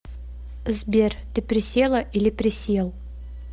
сбер ты присела или присел